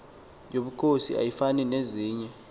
yobukhosi ayifani nezinye